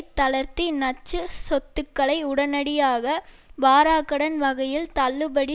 தளர்த்தி நச்சு சொத்துக்களை உடனடியாக வாராக்கடன் வகையில் தள்ளுபடி